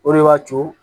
O de b'a to